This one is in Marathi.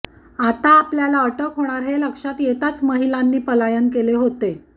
आता आपल्याला अटक होणार हे लक्षात येताच महिलांनी पलायन केले होते